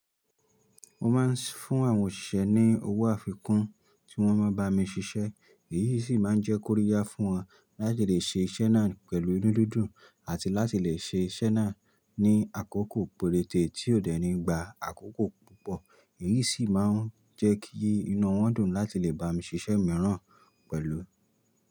Mo máa ń sh--fún àwọn òṣìṣẹ́ ní owó àfikún tí wọ́n n bá mi ṣiṣẹ́ èyí sì máa ń jẹ́ kóríyá fún wọn láti lè ṣe iṣẹ́ náà pẹ̀lú inú dídùn àti láti lè ṣe iṣẹ́ náà ní àkókò péréte tí ò dẹ́ni gba àkókò púpọ̀ èyí sì máa ń jẹ́ kí inú wọn dùn láti lè bá mi ṣiṣẹ́ mìíràn pẹ̀lú.